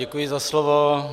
Děkuji za slovo.